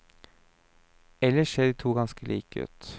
Ellers ser de to ganske like ut.